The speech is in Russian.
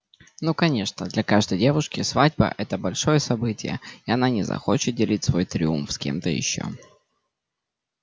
ну конечно для каждой девушки свадьба-это большое событие и она не захочет делить свой триумф с кем-то ещё